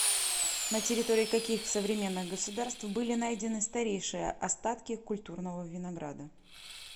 на территории каких современных государств были найдены старейшие остатки культурного винограда